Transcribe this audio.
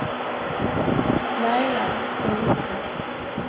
Laila Stenström